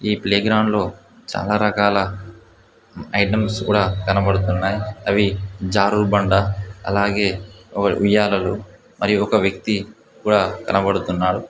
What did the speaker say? ఈ ప్లే గ్రౌండ్లో చాలా రకాల ఐటమ్స్ కూడా కనబడుతున్నాయి. అవి జారుడు బండ అలాగే ఉయ్యాలలు మరియు ఒక వ్యక్తి కూడా కనబడుతున్నారు.